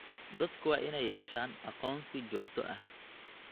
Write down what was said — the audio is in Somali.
Dadku waa inay yeeshaan aqoonsi joogto ah.